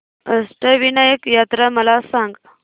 अष्टविनायक यात्रा मला सांग